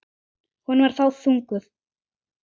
Hún var þá þunguð.